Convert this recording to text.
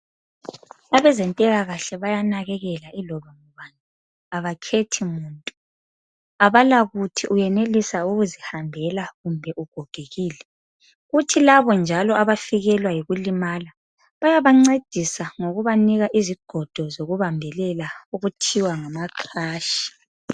Abezempilakahle bayanakekela yiloba ngubani abakhethi muntu abala kuthi uyenelisa ukuzihambela kumbe ugogekile kuthi labo njalo abafikelwa yikulimala bayabancedisa ngokubanika izigodo zokubambelela okuthiwa ngama crash.